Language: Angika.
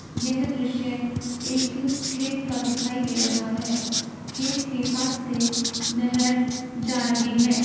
यह दृश्य एक खेत का दिखाई दे रहा है। खेत के पास से नहर जा रही है।